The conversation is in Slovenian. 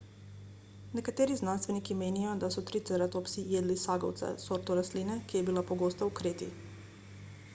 nekateri znanstveniki menijo da so triceratopsi jedli sagovce sorto rastline ki je bila pogosta v kreti